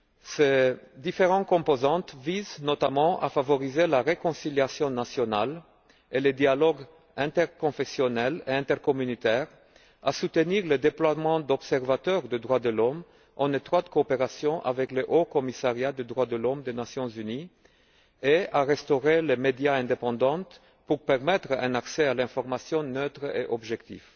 Ces différentes composantes visent notamment à favoriser la réconciliation nationale et le dialogue interconfessionnel et intercommunautaire, à soutenir le déploiement d'observateurs des droits l'homme, en étroite coopération avec le haut commissariat des droits de l'homme des Nations unies, et à restaurer les médias indépendants pour permettre un accès à l'information neutre et objective.